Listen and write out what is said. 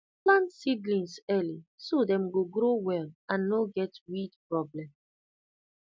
plant seedlings early so dem go grow well and no get weed problem